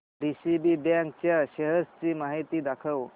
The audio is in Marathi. डीसीबी बँक च्या शेअर्स ची माहिती दाखव